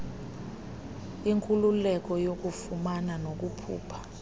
inkululeko yokufumana nokukhupha